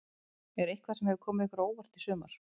Er eitthvað sem hefur komið ykkur á óvart í sumar?